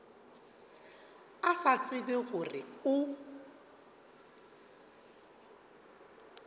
a sa tsebe gore o